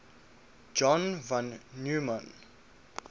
john von neumann